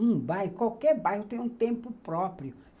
Um bairro, qualquer bairro, tem um tempo próprio.